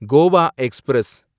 Goa express